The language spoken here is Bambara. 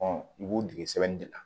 i b'u dege sɛbɛnni de la